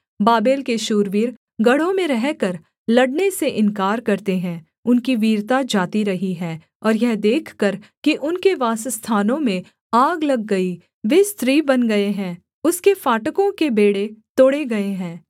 Babel के शूरवीर गढ़ों में रहकर लड़ने से इन्कार करते हैं उनकी वीरता जाती रही है और यह देखकर कि उनके वासस्थानों में आग लग गई वे स्त्री बन गए हैं उसके फाटकों के बेंड़े तोड़े गए हैं